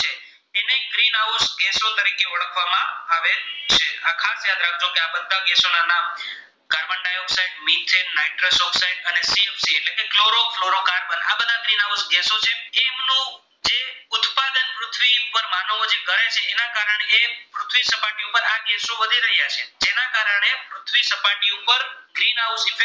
greenhouse એટલે